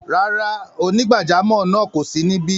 Rárá, onígbàjàmọ́ náà kò sí níbí.